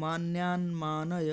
मान्यान्मानय